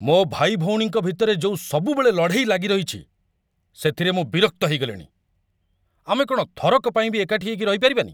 ମୋ ଭାଇଭଉଣୀଙ୍କ ଭିତରେ ଯୋଉ ସବୁବେଳେ ଲଢ଼େଇ ଲାଗିରହିଚି, ସେଥିରେ ମୁଁ ବିରକ୍ତ ହେଇଗଲିଣି । ଆମେ କ'ଣ ଥରକ ପାଇଁ ବି ଏକାଠି ହେଇକି ରହିପାରିବାନି?